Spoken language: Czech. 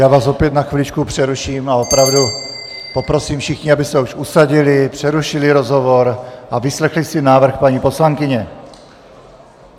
Já vás opět na chviličku přeruším -- a opravdu poprosím všechny, aby se už usadili, přerušili rozhovor a vyslechli si návrh paní poslankyně.